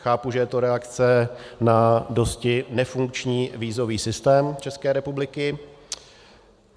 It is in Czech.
Chápu, že je to reakce na dosti nefunkční vízový systém České republiky.